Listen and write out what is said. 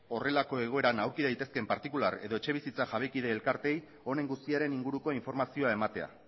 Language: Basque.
horrelako egoeran aurki daitezkeen partikular edo etxebizitza jabekide elkarteei honen guztiaren inguruko informazioa ematea